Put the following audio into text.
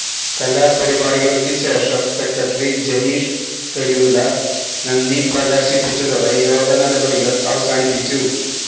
കലാപരിപാടികള്ക്ക് ശേഷം സെക്രട്ടറി ജനീഷ് കുരുവിള നന്ദി പ്രകാശിപ്പിച്ചതോടെ യോഗ നടപടികള് അവസാനിച്ചു